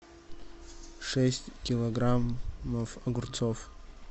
шесть килограмм огурцов